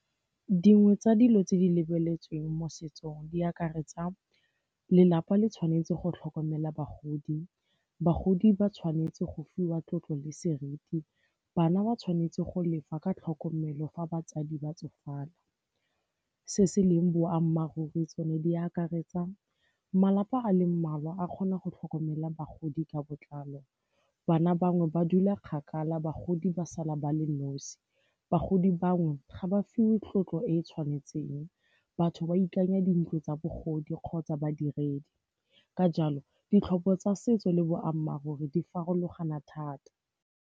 Dingwe tsa dilo tse di lebeletsweng mo setsong di akaretsa lelapa le tshwanetse go tlhokomela bagodi, bagodi ba tshwanetse go fiwa tlotlo le seriti, bana ba tshwanetse go lefa ka tlhokomelo fa batsadi ba tsofala. Se se leng boammaaruri tsone di akaretsa malapa a le mmalwa a kgona go tlhokomela bagodi ka botlalo, bana bangwe ba dula kgakala bagodi ba sala ba le nosi, bagodi bangwe ga ba fiwe tlotlo e e tshwanetseng, batho ba ikanya dintlo tsa bogodi kgotsa badiredi. Ka jalo, ditlhopho tsa setso le boammaaruri di farologana thata.